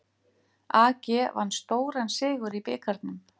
AG vann stóran sigur í bikarnum